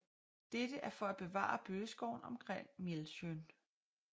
Dette er for at bevare bøgeskoven omkring Mjællsjøn